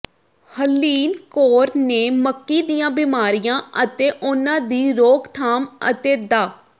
ਹਰਲੀਨ ਕੌਰ ਨੇ ਮੱਕੀ ਦੀਆਂ ਬਿਮਾਰੀਆਂ ਅਤੇ ਉਨ੍ਹਾਂ ਦੀ ਰੋਕਥਾਮ ਅਤੇ ਡਾ